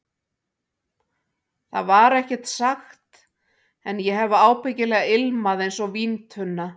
Það var ekkert sagt, en ég hef ábyggilega ilmað einsog víntunna.